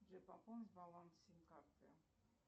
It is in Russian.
джой пополнить баланс сим карты